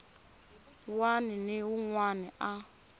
wana ni un wana a